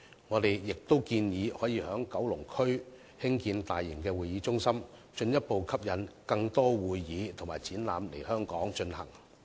我們亦建議在九龍區興建大型會議中心，進一步吸引更多會議和展覽來港舉行。